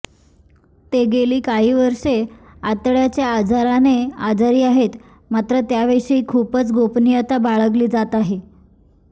ते गेली कांही वर्षे आतड्याच्या आजाराने आजारी आहेत मात्र त्याविषयी खूपच गोपनियता बाळगली जात आहे